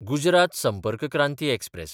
Gujarat Sampark Kranti express